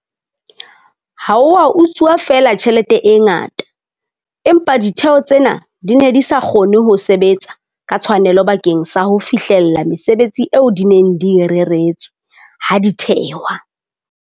Ha ho a utsuwa feela tjhelete e ngata, empa ditheo tsena di ne di sa kgone ho sebetsa ka tshwanelo bakeng sa ho fihlella mesebetsi eo di neng di e reretswe ha di thehwa.